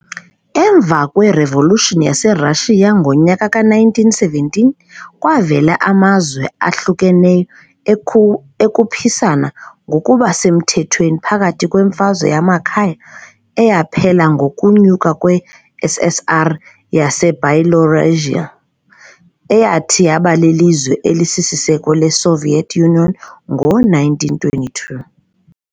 Emva kweRevolution yaseRashiya ngowe-1917, kwavela amazwe ahlukeneyo ekhuphisana ngokuba semthethweni phakathi kweMfazwe yamakhaya, eyaphela ngokunyuka kwe-SSR yaseByelorussian, eyathi yaba lilizwe elisisiseko le-Soviet Union ngo-1922.